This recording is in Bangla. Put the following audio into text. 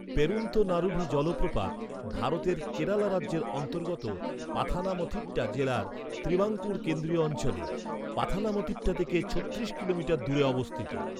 পেরুন্থনারুভি জলপ্রপাত, ভারতের কেরালা রাজ্যের অন্তর্গত পাথানামথিট্টা জেলার ত্রিবাঙ্কুর কেন্দ্রীয় অঞ্চলে, পাথানামথিট্টা থেকে ছত্রিশ কিলোমিটার দূরে অবস্থিত।